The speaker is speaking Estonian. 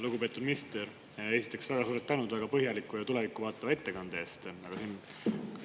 Lugupeetud minister, esiteks väga suur tänu väga põhjaliku ja tulevikku vaatava ettekande eest!